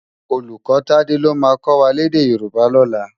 Ólúkò Tade ló má kò wá lèdè Yoruba lòlá